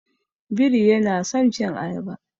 Biri yana son cin ayaba.